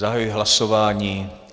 Zahajuji hlasování.